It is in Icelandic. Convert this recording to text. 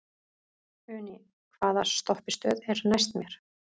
Uni, hvaða stoppistöð er næst mér?